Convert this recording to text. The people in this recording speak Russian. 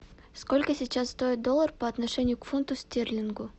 сколько сейчас стоит доллар по отношению к фунту стерлингу